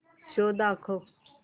show दाखव